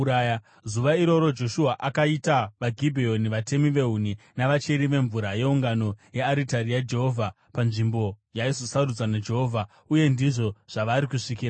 Zuva iroro Joshua akaita vaGibheoni vatemi vehuni navacheri vemvura yeungano neyearitari yaJehovha panzvimbo yaizosarudzwa naJehovha. Uye ndizvo zvavari kusvikira nanhasi.